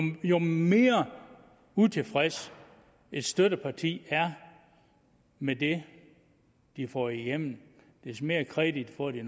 mere utilfreds et støtteparti er med det de får igennem des mere kredit får de